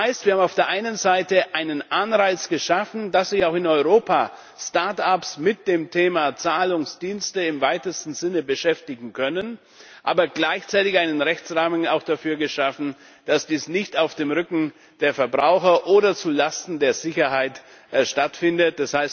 Das heißt, wir haben auf der einen Seite einen Anreiz geschaffen, dass sich auch in Europa Start ups mit dem Thema Zahlungsdienste im weitesten Sinne beschäftigen können, aber gleichzeitig einen Rechtsrahmen dafür, dass dies nicht auf dem Rücken der Verbraucher oder zu Lasten der Sicherheit stattfindet.